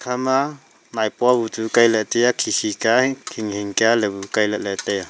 ekha ma moipua bu chu Kai ley taiya khi khi kya hing hing kya la bu kai lah ley taiya.